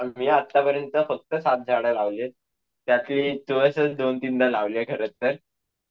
मी आत्तापर्यंत फक्त सात झाडे लावलीयेत त्यातली तुळसच दोन-तीनदा लावली आहे खरंतर